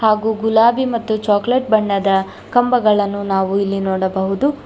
ಹಾಗು ಗುಲಾಬಿ ಮತ್ತು ಚಾಕೊಲೇಟ್ ಬಣ್ಣದ ಕಂಬಗಳನ್ನು ನಾವು ಇಲ್ಲಿ ನೋಡಬಹುದು.